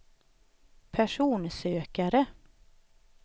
personsökare